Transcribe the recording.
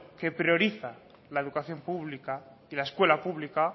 que prioriza la educación pública y la escuela pública